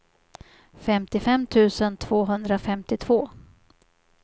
femtiofem tusen tvåhundrafemtiotvå